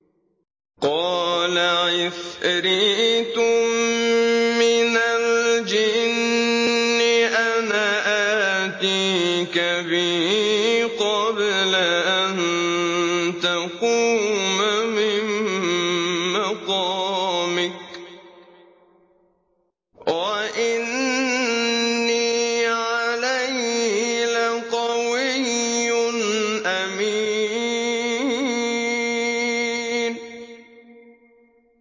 قَالَ عِفْرِيتٌ مِّنَ الْجِنِّ أَنَا آتِيكَ بِهِ قَبْلَ أَن تَقُومَ مِن مَّقَامِكَ ۖ وَإِنِّي عَلَيْهِ لَقَوِيٌّ أَمِينٌ